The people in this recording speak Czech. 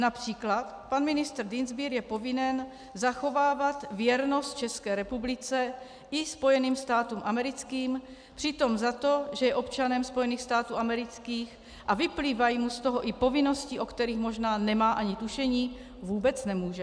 Například pan ministr Dienstbier je povinen zachovávat věrnost České republice i Spojeným státům americkým, přitom za to, že je občanem Spojených států amerických a vyplývají mu z toho i povinnosti, o kterých možná nemá ani tušení, vůbec nemůže.